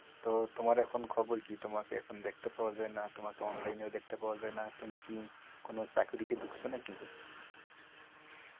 তো তোমার এখন খবর কি? তোমাকে এখন দেখতে পাওয়া যায়না। তোমাকে online এ দেখতে পাওয়া যায় না। তুমি কি কোনো চাকরিতে ঢুকছ নাকি?